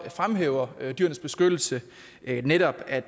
fremhæver dyrenes beskyttelse netop at